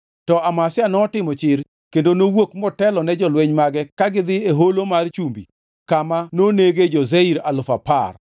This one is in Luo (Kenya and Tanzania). To Amazia notimo chir kendo nowuok motelone jolweny mage kagidhi e Holo mar Chumbi kama nonege jo-Seir alufu apar.